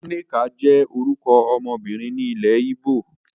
Nneka jẹ́ orúkọ ọmọbìnrin ni ilẹ́ ìgbò.